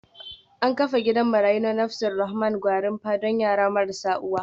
An kafa gidan marayu na Nafas Alrahman Gwarinpa don yara marasa uwa